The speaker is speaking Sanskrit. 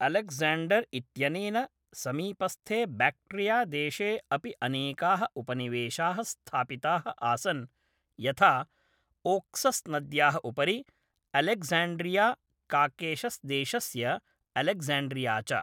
अलेक्जेण्डर् इत्यनेन, समीपस्थे बैक्ट्रियादेशे अपि अनेकाः उपनिवेशाः स्थापिताः आसन्, यथा ओक्सस्नद्याः उपरि अलेक्ज़ाण्ड्रिया काकेशस्देशस्य अलेक्ज़ाण्ड्रिया च।